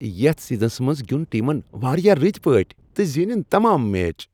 یتھ سیزنس منٛز گِیُنٛد ٹیمن واریاہ رٔتۍ پٲٹھۍ تہٕ زینن تمام میچ۔